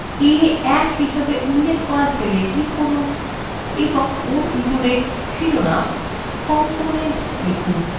এখনই a1 হিসেবে উল্লেখ করা cell click করুন এবং ওর ভিতরে শিরোনাম component লিখুন